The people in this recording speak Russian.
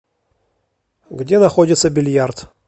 где находится бильярд